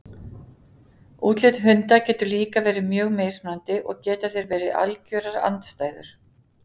Útlit hunda getur líka verið mjög mismunandi og geta þeir verið algjörar andstæður.